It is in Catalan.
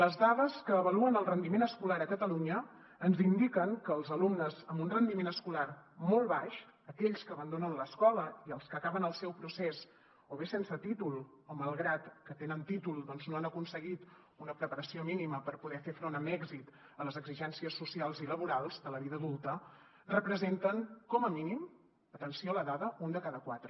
les dades que avaluen el rendiment escolar a catalunya ens indiquen que els alumnes amb un rendiment escolar molt baix aquells que abandonen l’escola i els que acaben el seu procés o bé sense títol o malgrat que tenen títol doncs no han aconseguit una preparació mínima per poder fer front amb èxit a les exigències socials i laborals de la vida adulta representen com a mínim atenció a la dada un de cada quatre